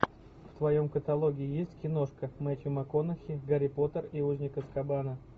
в твоем каталоге есть киношка мэттью макконахи гарри поттер и узник азкабана